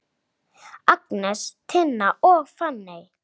Agnes, Tinna og Fanney.